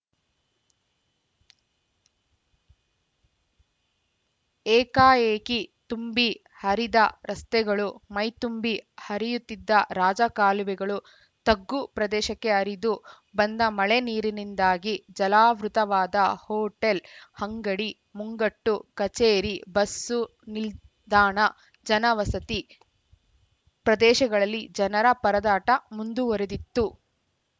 ಏಕಾಏಕಿ ತುಂಬಿ ಹರಿದ ರಸ್ತೆಗಳು ಮೈದುಂಬಿ ಹರಿಯುತ್ತಿದ್ದ ರಾಜ ಕಾಲುವೆಗಳು ತಗ್ಗು ಪ್ರದೇಶಕ್ಕೆ ಹರಿದು ಬಂದ ಮಳೆ ನೀರಿನಿಂದಾಗಿ ಜಲಾವೃತವಾದ ಹೋಟೆಲ್‌ ಅಂಗಡಿ ಮುಂಗಟ್ಟು ಕಚೇರಿ ಬಸ್ಸು ನಿಲ್ದಾಣ ಜನ ವಸತಿ ಪ್ರದೇಶಗಳಲ್ಲಿ ಜನರ ಪರದಾಟ ಮುಂದುವರಿದಿತ್ತು